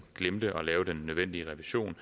glemte at lave den nødvendige revision